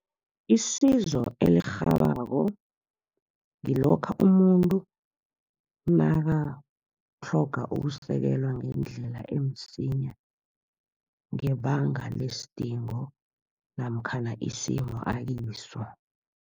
Isizo elirhabako, ngilokha umuntu nakatlhoga ukusekelwa ngendlela emsinya, ngebanga lesidingo namkhana isimo akiso.